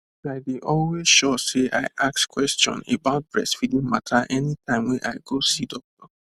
i dey always sure say i ask question about breastfeeding mata anytime wey i go see doctor